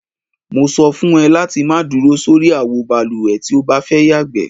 Mo so̩ fún e̩ láti má duro sórí àwo balùwè tí o bá fé̩ yàgbé.